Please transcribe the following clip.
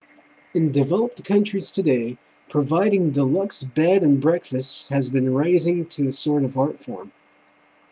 in developed countries today providing deluxe bed and breakfasts has been raised to a sort of art-form